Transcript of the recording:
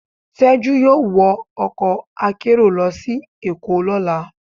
Tejú yọọ wọ ọkọ akerò lọ si Èko lọla.